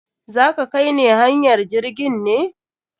Za ka kai ne hanyar jirgin ne?